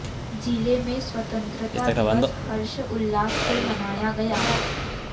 जिले में स्वतंत्रता दिवस हर्ष उल्लास से मनाया गया